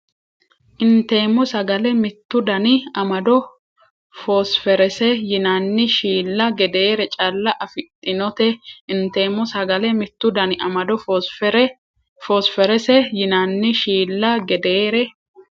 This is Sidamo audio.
Inteemmo sagale mittu dani amado foosferese yinanni shiilla gedeere calla afidhinote Inteemmo sagale mittu dani amado foosferese yinanni shiilla gedeere.